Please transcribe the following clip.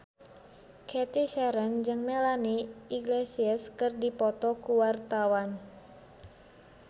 Cathy Sharon jeung Melanie Iglesias keur dipoto ku wartawan